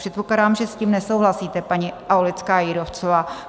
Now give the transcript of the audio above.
Předpokládám, že s tím nesouhlasíte, paní Aulická Jírovcová.